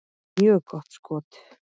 Mjög gott skot.